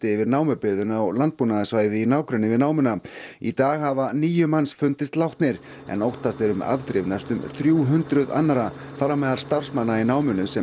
yfir námubyggðina og landbúnaðarsvæði í nágrenni við námuna í dag hafa níu manns fundist látnir en óttast er um afdrif næstum þrjú hundruð annarra þar á meðal starfsmanna í námunni sem